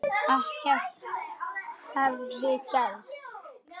Ekkert hefði gerst.